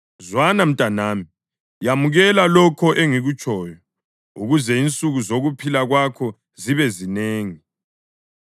Zwana mntanami, yamukela lokho engikutshoyo, ukuze insuku zokuphila kwakho zibe zinengi.